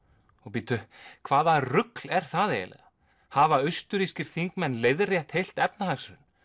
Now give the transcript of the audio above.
bíddu hvaða rugl er það eiginlega hafa austurrískir þingmenn leiðrétt heilt efnahagshrun